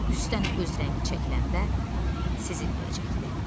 Üstdən öz rəngi çəkiləndə sezilməyəcəkdi.